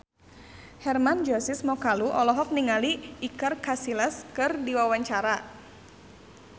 Hermann Josis Mokalu olohok ningali Iker Casillas keur diwawancara